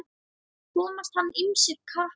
Komast hann ýmsir krappan í.